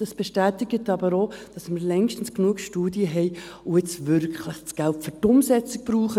Dies bestätigt aber auch, dass wir längstens genug Studien haben und das Geld jetzt wirklich für die Umsetzung brauchen.